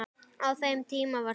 Á þeim tíma var Skúla